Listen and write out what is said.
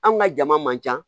An ka jama man ca